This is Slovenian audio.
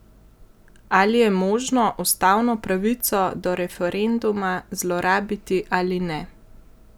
Ali je možno ustavno pravico do referenduma zlorabiti ali ne?